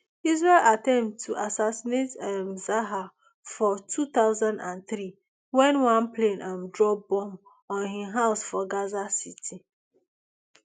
israel attempt to assassinate um zahar for two thousand and three wen one plane um drop bomb on im house for gaza city